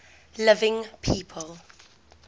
living people